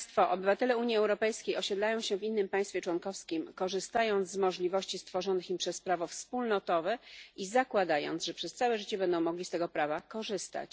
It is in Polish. Obywatele Unii Europejskiej osiedlają się w innym państwie członkowskim, korzystając z możliwości stworzonych im przez prawo wspólnotowe i zakładając, że przez całe życie będą mogli z tego prawa korzystać.